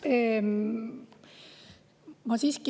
Aitäh!